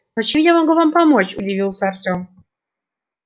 но чем я могу вам помочь удивился артем